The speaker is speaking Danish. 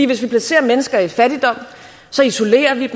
hvis vi placerer mennesker i fattigdom isolerer vi